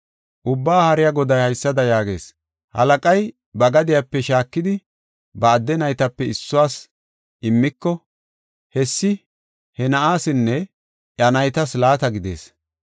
Ubbaa Haariya Goday haysada yaagees: “Halaqay ba gadiyape shaakidi, ba adde naytape issuwas immiko, hessi he na7aasinne iya naytas laata gidees.